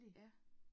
Ja